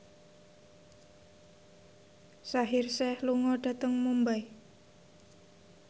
Shaheer Sheikh lunga dhateng Mumbai